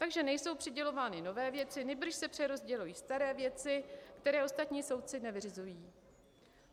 Takže nejsou přidělovány nové věci, nýbrž se přerozdělují staré věci, které ostatní soudci nevyřizují.